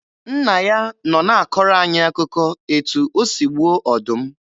Nna ya nọ na-akọrọ anyị akụkọ etu o si gbuo ọdụm.